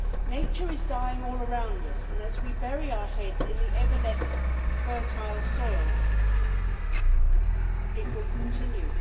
Nature is dying all around us, and as we bury our heads in the ever less fertile soil, it will continue.